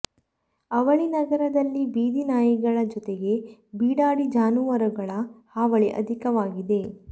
ಅವಳಿ ನಗರದಲ್ಲಿ ಬೀದಿ ನಾಯಿಗಳ ಜೊತೆಗೆ ಬಿಡಾಡಿ ಜಾನುವಾರುಗಳ ಹಾವಳಿ ಅಧಿಕವಾಗಿದೆ